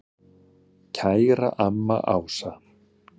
Kæra amma Ása.